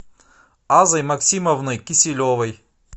азой максимовной киселевой